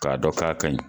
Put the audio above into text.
K'a dɔn k'a kaɲi